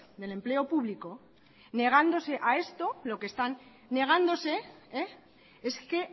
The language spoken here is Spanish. del empleo público negándose a esto lo que están negándose es que